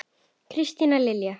Kristín Lilja.